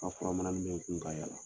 A fɔra mananin bɛ n kun ka yaala.